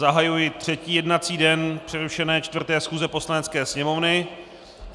Zahajuji třetí jednací den přerušené 4. schůze Poslanecké sněmovny.